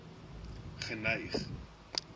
geneig